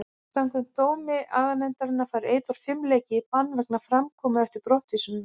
Samkvæmt dómi aganefndarinnar fær Eyþór fimm leiki í bann vegna framkomu eftir brottvísunina.